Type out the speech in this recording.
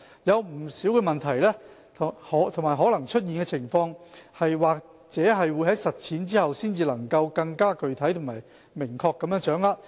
有不少問題和可能出現的情況，或者在實踐後才能更具體和明確地掌握。